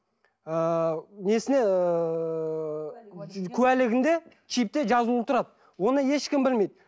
ыыы несіне ыыы куәлігінде чипте жазылулы тұрады оны ешкім білмейді